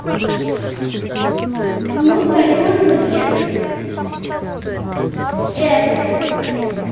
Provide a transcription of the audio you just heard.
почему с айфона запрет айпл